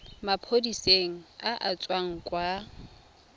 maphodiseng a a tswang kwa